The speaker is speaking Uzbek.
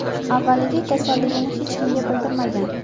Avvaliga kasalligini hech kimga bildirmagan.